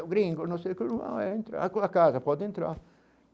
É o Gringo, não sei o que é, a casa, pode entrar.